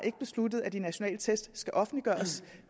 ikke besluttet at de nationale test skal offentliggøres